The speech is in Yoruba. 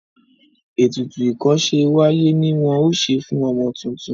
ètùtù ikose w'aye ní wón ṣe fún ọmọ títún.